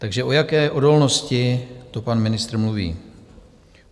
Takže o jaké odolnosti to pan ministr mluví?